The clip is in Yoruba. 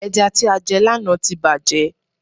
Ẹja tí a jẹ lànà tí bàjé